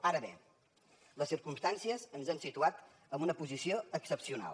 ara bé les circumstàncies ens han situat en una posició excepcional